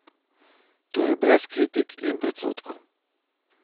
Torej brez kritik in predsodkov ...